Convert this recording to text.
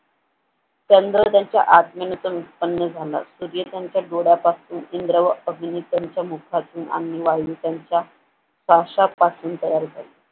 चंद्रोदयाच्या आत्मीयतेने उत्पन्न झाला सूर्याच्या डोळ्यापासून इंद्र व अग्नी त्यांच्या मुखातून अग्नी वायू त्यांच्या फाश्यापासून तयार झाले.